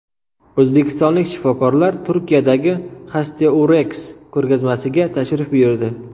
O‘zbekistonlik shifokorlar Turkiyadagi Hestourex ko‘rgazmasiga tashrif buyurdi.